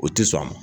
O ti sɔn